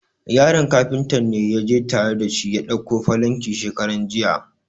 Yaron Kafuntan ne ya je tare da shi ya dauko falankin shekaran jiya.